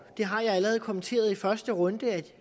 det har jeg allerede kommenteret i første runde